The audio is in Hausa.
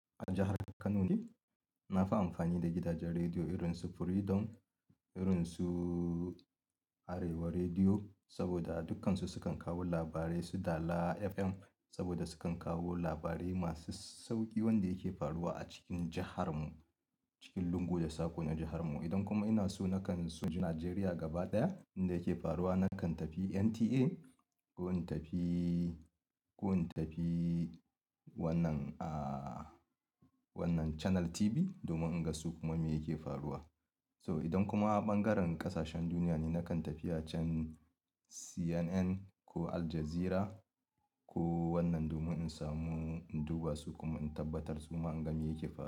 A jahar Kano ne. Na fi amfani da gidajen rediyo irin su Freedom, irin su Arewa Rediyo, saboda dukkansu sukan kawo labarai, su dala FM saboda sukan kawo labarai masu sauƙi wanda yake faruwa a cikin jahar mu, cikin lungu da sako na jahar mu. Idan kuma inaso nakan so inji nigeria gaba daya, abinda yake faru nakn tafi NTA ko intafi, ko intafi, wannan, ah wannan chanel TV domin inga sukuma mi yake faruwa. So idan kuma a ɓangaren ƙasashen duniya ne, nakan tafi a can CNN ko Al Jazeera ko wannan domin in samu in duba su kuma in tabbatar suma in ga me yake faruwa.